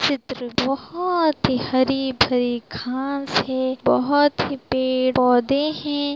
चित्र बोहोत ही हरी-भरी घास है बोहोत ही पेड़ पौधे हैं।